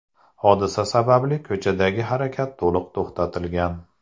Hodisa sababli ko‘chadagi harakat to‘liq to‘xtatilgan.